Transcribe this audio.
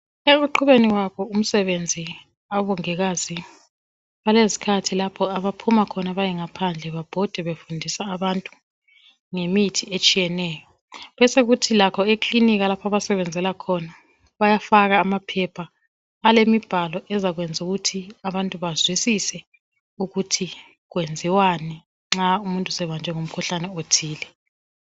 Ekuqhubeni kwabo umsebenzi abongikazi, balezikhathi lapho abaphuma khona bayengaphandle babhode befundisa abantu ngemithi etshiyeneyo besokuthi lakho eklinika lapho abasebenzela khona bayafaka amaphepha alemibhalo ezakwenza ukuthi abantu bazwisie ukuthi kwenziwani nxa umuntu sebanjwe ngumkhuhlane othile